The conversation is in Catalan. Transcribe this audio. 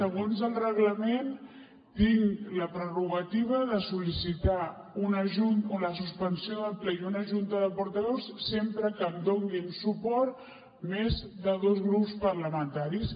segons el reglament tinc la prerrogativa de sol·licitar una suspensió del ple i una junta de portaveus sempre que em donin suport més de dos grups parlamentaris